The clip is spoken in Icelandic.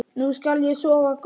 Nú skal ég sofa gott.